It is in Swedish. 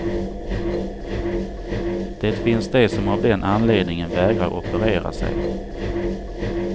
Det finns de som av den anledningen vägrar operera sig.